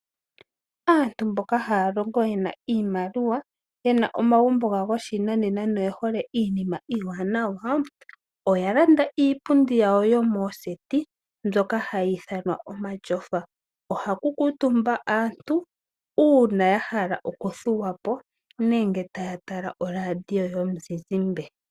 Aantu mboka haya longo ye na iimaliwa nomagumbo gawo gopashinanena na oyehole iinima iiwanawa, oya landa iipundi yawo yomooseti mbyoka hayi ithanwa omatyofa. Ohaku kuutumba aantu uuna ya hala okuthuwapo nenge taya tala oradio yomuzizimbe.